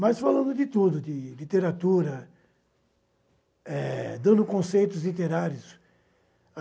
Mas falando de tudo, de literatura, eh dando conceitos literários.